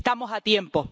Estamos a tiempo.